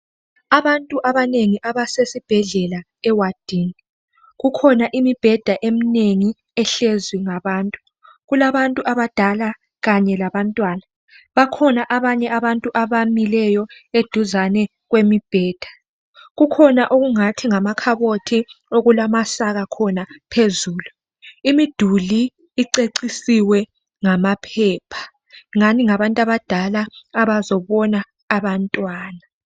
Abantu abanengi abasesibhedlela ewadini. Kukhona imibheda eminengi ehlezwi ngabantu. Kulabantu abadala kanye labantwana. Bakhona abanye abantu abamileyo eduzane kwemibheda. Kukhona okungathi ngamakhabothi okulamasaka khona phezulu. Imiduli icecisiwe ngamaphepha. Ngani ngabantu abadala abazobona abantwana.